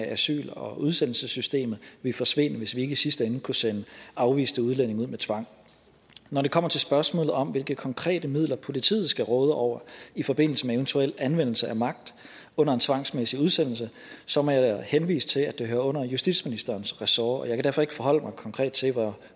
i asyl og udsendelsessystemet ville forsvinde hvis vi ikke i sidste ende kunne sende afviste udlændinge ud med tvang når det kommer til spørgsmålet om hvilke konkrete midler politiet skal råde over i forbindelse med eventuel anvendelse af magt under en tvangsmæssig udsendelse så må jeg henvise til at det hører under justitsministerens ressort jeg kan derfor ikke forholde mig konkret til